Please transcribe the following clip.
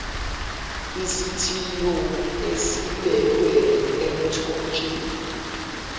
isithiyo esibekwe emthonjeni